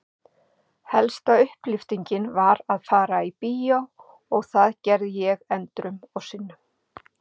Helsta upplyftingin var að fara í bíó og það gerði ég endrum og sinnum.